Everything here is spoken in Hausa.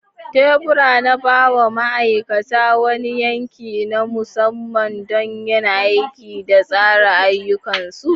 Tebura na ba wa ma'aikata wani yanki na musamman don yin aiki da tsara ayyukansu.